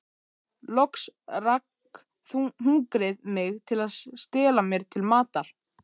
Loks rak hungrið mig til að stela mér til matar.